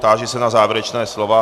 Táži se na závěrečná slova.